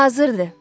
Hazırdır.